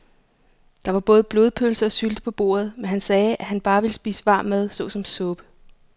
Der var både blodpølse og sylte på bordet, men han sagde, at han bare ville spise varm mad såsom suppe.